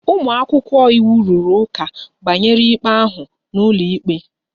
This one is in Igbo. Ụmụ akwụkwọ iwu rụrụ ụka banyere ikpe ahụ n'ụlọikpe